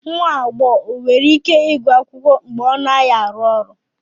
Nwa agbọghọ e nwere ike ịgụ akwụkwọ mgbe ọ naghị arụ ọrụ